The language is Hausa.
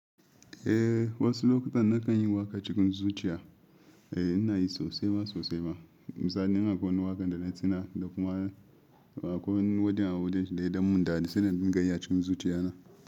Eh wasu lokutan na kan yi waƙa cikin zuciya. Eh ina yi sosai ma sosai ma. Misali ina akwai wani waƙan da na tina da kuma akwai wani wajen a wajenshi da ya yi dan munda sai na din gayi a cikin zuciya na.